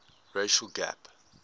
racial gap